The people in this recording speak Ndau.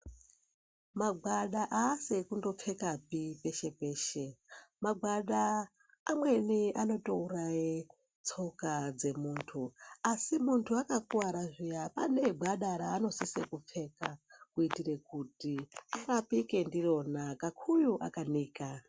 Magwada aasi ekundopfekapi peshe peshe magwada amweni anotoutaye tsoka dzemuntu asi muntu akakuwara zviya anengwada raanosise kupfeka kuitire kuti arapike ndirona kakuyu akanika.